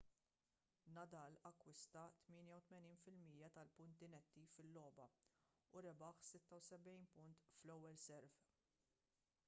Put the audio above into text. nadal akkwista 88% tal-punti netti fil-logħba u rebaħ 76 punt fl-ewwel serve